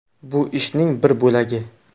Bu ishning bir bo‘lagi.